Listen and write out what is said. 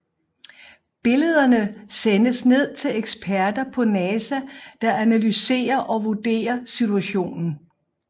Billederne sendes ned til eksperter på NASA der analyserer og vurderer situationen